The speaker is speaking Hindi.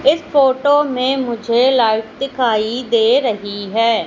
इस फोटो में मुझे लाइट दिखाई दे रही है।